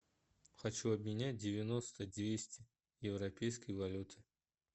хочу обменять девяносто двести европейской валюты